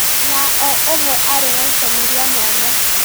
Na o ũmwe arĩ na itemi rĩa mwanya